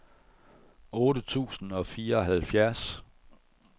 otte tusind og fireoghalvfjerds